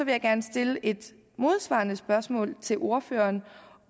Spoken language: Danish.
jeg gerne stille et modspørgsmål til ordføreren